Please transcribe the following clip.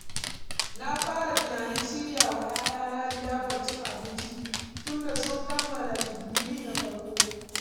Na fara tunanin shirya wa ‘ya’yana liyafar cin abinci, tunda sun kammala digiri na farko.